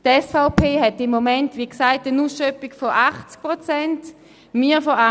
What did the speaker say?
Die SVP hat im Moment, wie gesagt, eine Ausschöpfung von 80 Prozent, wir eine von 78 Prozent.